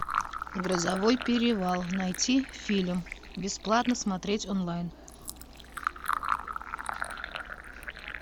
грозовой перевал найти фильм бесплатно смотреть онлайн